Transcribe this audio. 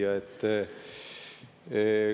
Hea küsija!